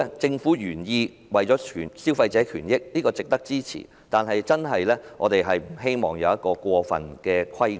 政府的原意是為了保障消費者的權益，這是值得支持的，但我們不希望出現過分的規管。